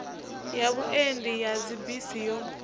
ya vhuendi ya dzibisi yo